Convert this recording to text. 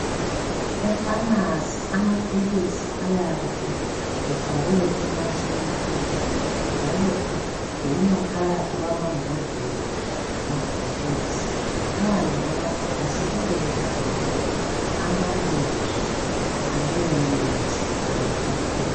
Epharmacy amaphilisi ayabe efakwe emashelufini .Njalo egcinwa phakathi kwama mbodlela lamabhokisi .Phandle kwamabhokisi kuyabe kubhaliwe amabizo aleyo mithi kumbe ngamaphilisi .